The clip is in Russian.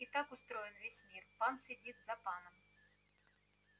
и так устроен весь мир пан сидит за паном